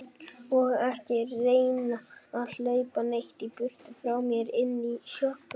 Og ekki reyna að hlaupa neitt í burtu frá mér. inn í sjoppuna!